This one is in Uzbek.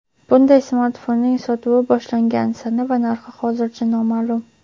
Bunday smartfonning sotuvi boshlangan sana va narxi hozircha noma’lum.